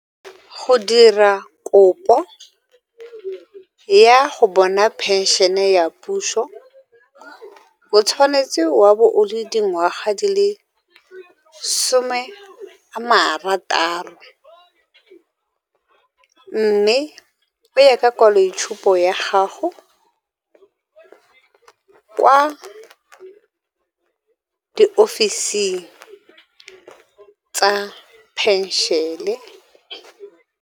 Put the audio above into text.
Go dira kopo ya go bona phenšene ya puso o tshwanetse wa bo o le dingwaga di le some a marataro, mme o ye ka kwaloitshupo ya gago kwa diofising tsa phenšene.